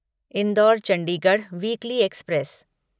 indoor Chandigarh weekly express